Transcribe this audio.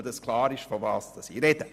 Nur damit klar ist, wovon ich spreche.